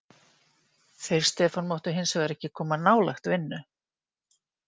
Þeir Stefán máttu hins vegar ekki koma nálægt vinnu.